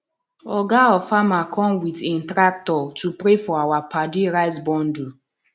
oga of farmer come with im tractor to pray for our paddy rice bundle